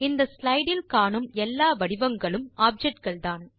இந்த ஸ்லைடு இல் காணும் எல்லா வடிவங்களும் ஆப்ஜெக்ட் கள்தான்